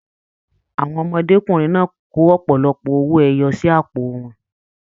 Àwọn ọmọdékunrin náà kò ọpọlọpọ owó ẹyọ sí àpò wọn.